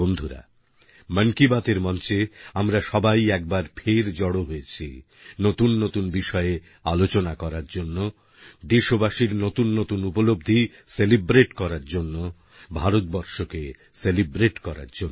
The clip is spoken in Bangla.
বন্ধুরা মন কি বাতএর মঞ্চে আমরা সবাই একবার ফের জড়ো হয়েছি নতুন নতুন বিষয়ে আলোচনা করার জন্য দেশবাসীর নতুন নতুন উপলব্ধি সেলিব্রেট করার জন্য ভারতবর্ষকে সেলিব্রেট করার জন্য